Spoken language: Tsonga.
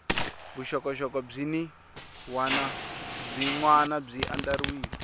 vuxokoxoko byin wana byi andlariwile